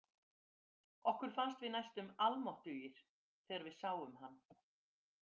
Okkur fannst við næstum allmáttugir þegar við sáum hann.